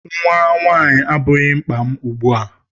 Nnwa nwaanyị abụghị mkpa m ugbu a.